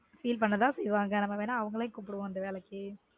feel பண்ண தான் செய்வாங்க நம்ம வேணா அவங்களயும் கூப்புடுவோம் இந்த வேலைக்கு